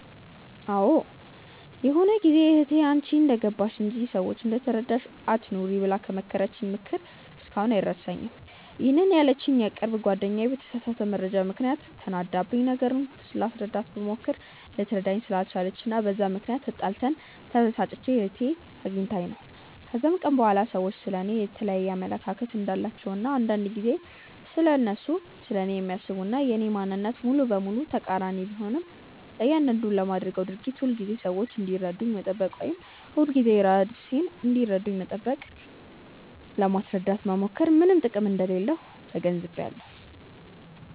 አዎ ይሆነ ጊዜ እህቴ "አንቺ እንደገባሽ እንጂ፤ ሰዎች እንደተረዳሽ አትኑሪ" ብላ የመከረችኝ ምክር እስካሁን አይረሳኝም፤ ይሄንን ያለችኝ የቅርብ ጓደኛዬ በተሳሳተ መረጃ ምክንያት ተናዳብኝ፤ ነገሩን ላስረዳት ብሞክር ልትረዳኝ ስላልቻለች እና በዛ ምክንያት ተጣልተን፤ ተበሳጭቼ እህቴ አግኝታኝ ነው። ከዛን ቀን በኋላ ሰዎች ስለ እኔ የየተለያየ አመለካከት እንዳላቸው እና አንዳንድ ጊዜ እነሱ ስለኔ የሚያስቡት እና የኔ ማንነት ሙሉ በሙሉ ተቃሪኒ ቢሆንም፤ ለያንዳንዱ ለማደርገው ድርጊት ሁልጊዜ ሰዎች እንዲረዱኝ መጠበቅ ወይም ሁልጊዜ ራሴን ለማስረዳት መሞከር ምንም ጥቅም እንደሌለው ተገንዝቢያለው።